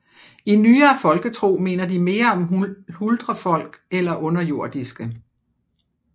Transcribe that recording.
I nyere folketro minder de mere om huldrefolk eller underjordiske